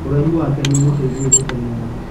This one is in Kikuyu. Ũraihu wake nĩũmũteithagia gũteng'era.